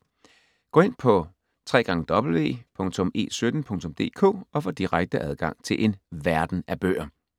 Gå ind på www.e17.dk og få direkte adgang til en verden af bøger.